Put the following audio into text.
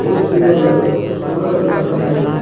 बहुत सुन्दर लग ता कोना एकर बड़ा हैवी बा।